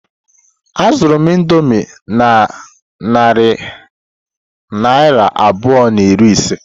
Azụru m indomie na narị naira abụọ na iri ise.